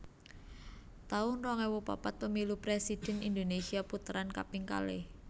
taun rong ewu papat Pemilu Presidhèn Indonesia Puteran kaping kalih